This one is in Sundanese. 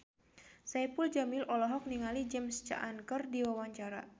Saipul Jamil olohok ningali James Caan keur diwawancara